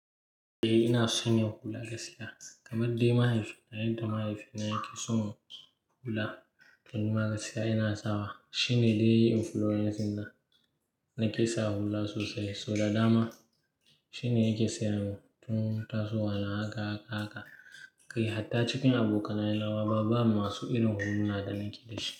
Eh ina son yin hula da gaskiya. Kamar dai mahaifina, yadda mahaifina yake so mu hula toh nima gaskiya ina sawa. Shine dai yayi influencing dina nake sa hula sosai. So da dama shine yake sayar mun tun tasowa na haka haka haka. Kai hatta cikin abokanai na waba, babu masu irin huluna da nake dashi.